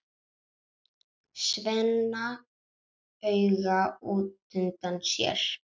Svenna auga útundan sér.